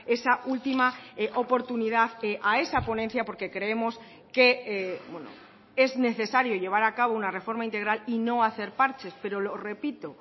esa última oportunidad a esa ponencia porque creemos que es necesario llevar a cabo una reforma integral y no hacer parches pero lo repito